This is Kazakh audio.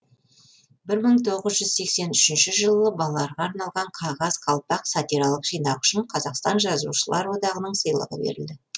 бір мың тоғыз жүз сексен үшінші жылы балаларға арналған қағаз қалпақ сатиралық жинағы үшін қазақстан жазушылар одағының сыйлығы берілді